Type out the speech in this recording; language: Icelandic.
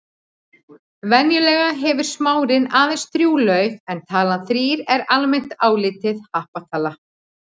Venjulega hefur smárinn aðeins þrjú lauf en talan þrír er almennt álitin happatala.